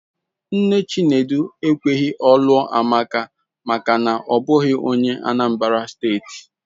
Nne Chinedu ekweghị ọ lụọ Amaka maka na ọ bụghị onye Anambra steeti.